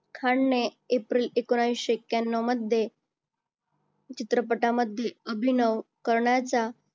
खानने एप्रिल एकोणविशे एक्क्यांनव मध्ये चित्रपटांमध्ये अभिनव करण्याचा